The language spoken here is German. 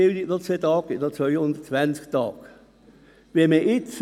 Ziehen wir noch 2 Tage für Weiterbildung ab, verbleiben 220 Arbeitstage.